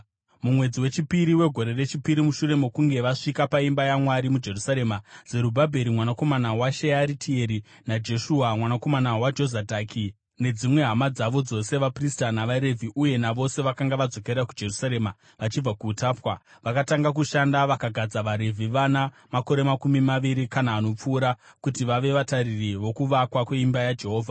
Mumwedzi wechipiri wegore rechipiri mushure mokunge vasvika paimba yaMwari muJerusarema, Zerubhabheri mwanakomana waShearitieri, naJeshua mwanakomana waJozadhaki nedzimwe hama dzavo dzose (vaprista navaRevhi uye navose vakanga vadzokera kuJerusarema vachibva kuutapwa) vakatanga kushanda vakagadza vaRevhi vana makore makumi maviri kana anopfuura kuti vave vatariri vokuvakwa kweimba yaJehovha.